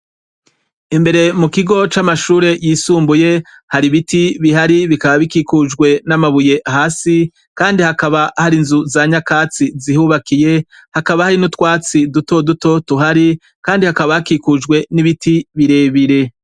Imbere mu kigo c'amashure yisumbuye hari ibiti bihari bikaba bikikujwe n'amabuye hasi, kandi hakaba hari nzu zanyakatsi zihubakiye hakaba hari n'utwatsi duto duto tuhari, kandi hakaba hakikujwe n'ibiti birebire.